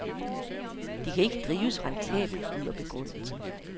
De kan ikke drives rentabelt, lyder begrundelsen.